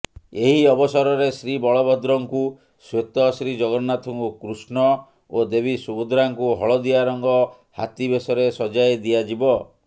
ଏହି ଅବସରରେ ଶ୍ରୀବଳଭଦ୍ରଙ୍କୁ ଶ୍ୱେତ ଶ୍ରୀଜଗନ୍ନାଥଙ୍କୁ କୃଷ୍ଣ ଓ ଦେବୀ ସୁଭଦ୍ରାଙ୍କୁ ହଳଦିଆ ରଙ୍ଗ ହାତୀବେଶରେ ସଜ୍ଜାଇ ଦିଆଯିବ